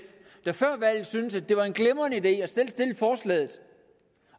der før valget syntes at det var en glimrende idé